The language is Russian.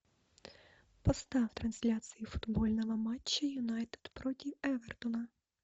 поставь трансляцию футбольного матча юнайтед против эвертона